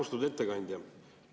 Austatud ettekandja!